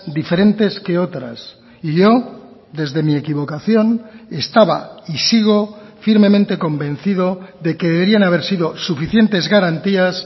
diferentes que otras y yo desde mi equivocación estaba y sigo firmemente convencido de que deberían haber sido suficientes garantías